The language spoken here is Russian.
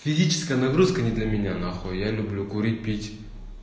физическая нагрузка не для меня нахуй я люблю курить пить